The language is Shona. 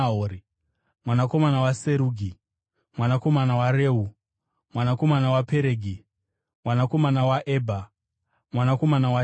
mwanakomana waSerugi, mwanakomana waReu, mwanakomana waPeregi, mwanakomana waEbha, mwanakomana waShera,